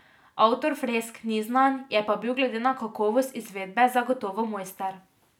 Avtor fresk ni znan, je pa bil glede na kakovost izvedbe zagotovo mojster.